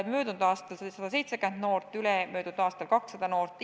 Möödunud aastal tegi seda ligi 170 noort, ülemöödunud aastal 200 noort.